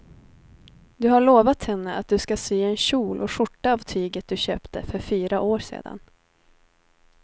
Du har lovat henne att du ska sy en kjol och skjorta av tyget du köpte för fyra år sedan.